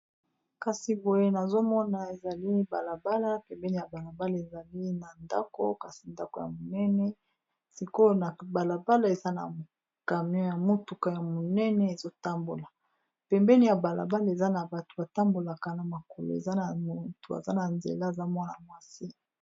nazomona ezali balabala pembeni ya balabala ezali na ndako kasi ndako ya monene sikoyo na balabala eza na camion ya motuka ya monene ezotambola. pembeni ya balabala eza na bato batambolaka na makolo eza na motu aza na nzela eza mwana mwasi